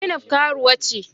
Zainab karuwa ce.